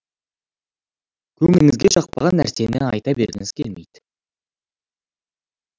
көңіліңізге жақпаған нәрсені айта бергіңіз келмейді